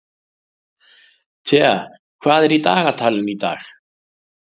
Thea, hvað er í dagatalinu í dag?